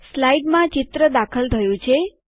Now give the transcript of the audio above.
સ્લાઇડમાં ચિત્ર દાખલ થયું છે